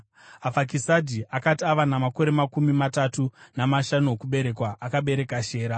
Afakisadhi akati ava namakore makumi matatu namashanu okuberekwa, akabereka Shera.